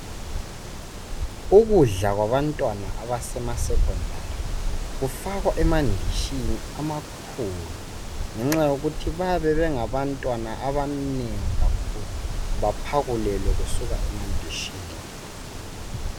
Ukudla kwabantwana abesecondary kufakwa emandishini amakhulu ngenxa yokuthi babengabantwana abanengi kakhulu baphakulelwe kusuka emandishini.